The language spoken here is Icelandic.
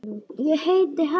Ég heiti Helga!